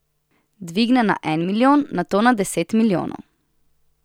Dvigne na en milijon, nato na deset milijonov.